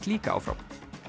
líka áfram